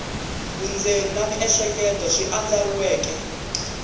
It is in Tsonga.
vundzeni na miehleketo swi andlariweke